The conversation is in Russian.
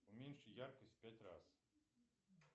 уменьши яркость в пять раз